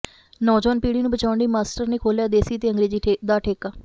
ਨੌਜਵਾਨ ਪੀੜ੍ਹੀ ਨੂੰ ਬਚਾਉਣ ਲਈ ਮਾਸਟਰ ਨੇ ਖੋਲ੍ਹਿਆ ਦੇਸੀ ਤੇ ਅੰਗਰੇਜ਼ੀ ਦਾ ਠੇਕਾ